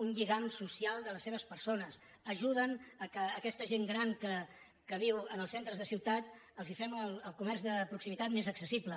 un lligam social de les seves persones ajuden perquè a aquesta gent gran que viu en els centres de ciutat els fem el comerç de proximitat més accessible